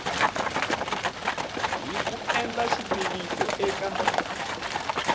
hi ku endla xitiviso eka